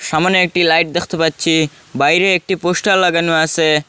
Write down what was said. সামোনে একটি লাইট দেখতে পাচ্ছি বাইরে একটি পোস্টার লাগানো আছে।